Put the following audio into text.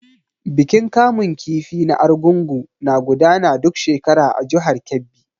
Bikin kamun kifi na Argungu na gudana duk shekara a jihar Kebbi.